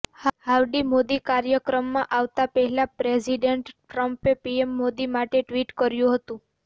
howdy Modi કાર્યક્રમમાં આવતા પહેલા પ્રેસિડેન્ટ ટ્રંપે પીએમ મોદી માટે ટ્વિટ કર્યું હતું